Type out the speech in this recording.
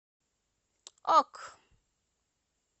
ок